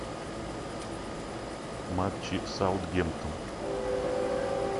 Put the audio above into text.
матчи саутгемптон